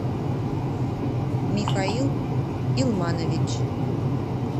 михаил илманович